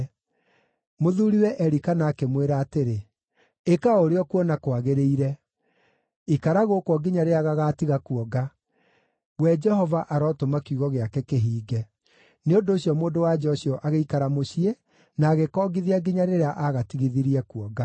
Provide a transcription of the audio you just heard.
Mũthuuriwe Elikana akĩmwĩra atĩrĩ, “Ĩka o ũrĩa ũkuona kwagĩrĩire. Ikara gũkũ o nginya rĩrĩa gagaatiga kuonga; we Jehova arotũma kiugo gĩake kĩhinge.” Nĩ ũndũ ũcio mũndũ-wa-nja ũcio agĩikara mũciĩ na agĩkongithia nginya rĩrĩa aagatigithirie kuonga.